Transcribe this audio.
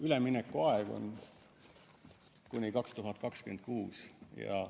Üleminekuaeg on kuni aastani 2026.